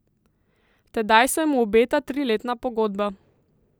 Tedaj se mu obeta triletna pogodba.